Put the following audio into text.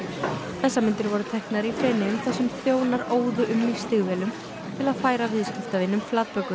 þessar myndir voru teknar í Feneyjum þar sem þjónar óðu um í stígvélum til að færa viðskiptavinum flatbökur